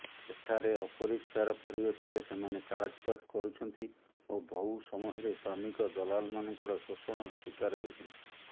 ସେଠାରେ ଅପରିଷ୍କାର ପରିବେଶରେ ସେମାନେ କାଳାତିପାତ କରୁଛନ୍ତି ଓ ବହୁ ସମୟରେ ଶ୍ରମିକ ଦଲାଲମାନଙ୍କର ଶୋଷଣର ଶିକାର ହେଉଛନ୍ତି